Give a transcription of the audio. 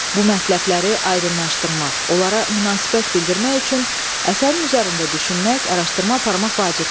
Bu mətləbləri aydınlaşdırmaq, onlara münasibət bildirmək üçün əsərin üzərində düşünmək, araşdırma aparmaq vacibdir.